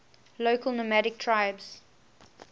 local nomadic tribes